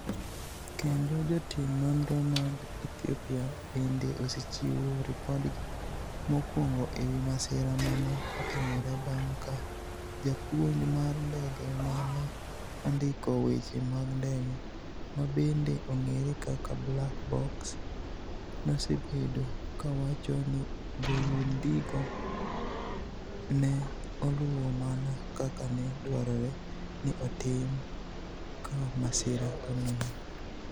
Kendo jotim nonro mag Ethiopia bende osechiwo ripodgi mokwongo e wi masira ma ne otimore bang' ka japuonj mar ndege ma ne ondiko weche mag ndege, ma bende ong'ere kaka Black Box, nosebedo ka wacho ni joyundigo ne oluwo mana kaka ne dwarore ni otim ka masira oneno.